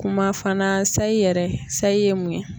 Kuma fana sayi yɛrɛ sayi mun ye?